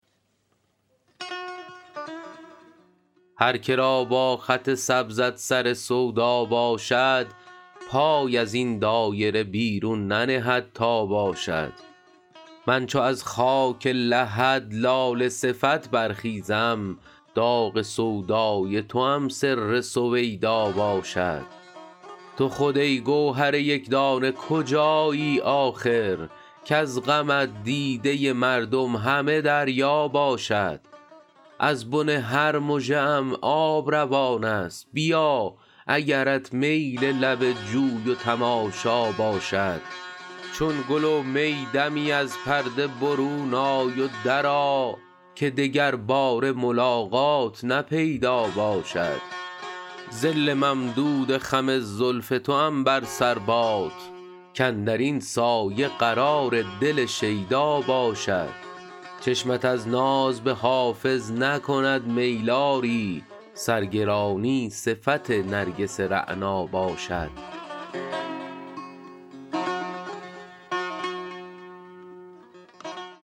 هر که را با خط سبزت سر سودا باشد پای از این دایره بیرون ننهد تا باشد من چو از خاک لحد لاله صفت برخیزم داغ سودای توام سر سویدا باشد تو خود ای گوهر یک دانه کجایی آخر کز غمت دیده مردم همه دریا باشد از بن هر مژه ام آب روان است بیا اگرت میل لب جوی و تماشا باشد چون گل و می دمی از پرده برون آی و درآ که دگرباره ملاقات نه پیدا باشد ظل ممدود خم زلف توام بر سر باد کاندر این سایه قرار دل شیدا باشد چشمت از ناز به حافظ نکند میل آری سرگرانی صفت نرگس رعنا باشد